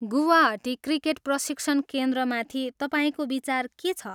Guwahati cricket प्रशिक्षण केन्द्रमाथि तपाईँको विचार के छ?